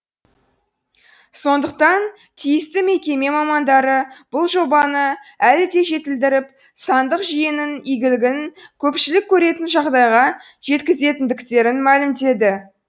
сондықтан тиісті мекеме мамандары бұл жобаны әлі де жетілдіріп сандық жүйенің игілігін көпшілік көретін жағдайға жеткізетіндіктерін мәлімдеді